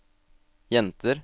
jenter